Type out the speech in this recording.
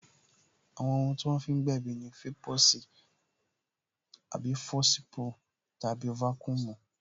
Àwọn ohun tí wọ́n fi ń gbèbí ni fọsipu tàbí vaccumy